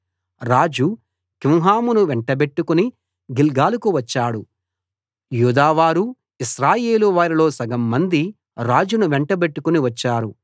రాజు కింహామును వెంటబెట్టుకుని గిల్గాలుకు వచ్చాడు యూదావారు ఇశ్రాయేలువారిలో సగంమంది రాజును వెంటబెట్టుకుని వచ్చారు